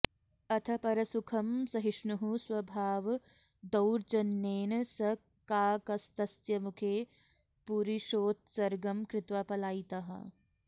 अथ परसुखमसहिष्णुः स्वभावदौर्जन्येन स काकस्तस्य मुखे पुरीषोत्सर्गं कृत्वा पलायितः